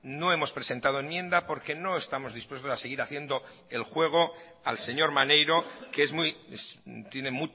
no hemos presentado enmienda porque no estamos dispuestos a seguir haciendo el juego al señor maneiro que es muy tiene